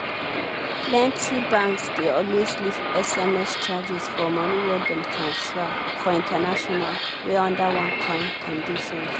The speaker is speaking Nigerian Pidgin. plenty banks dey always leave sms charges for money wey dem transfer for international wey under one kind conditions.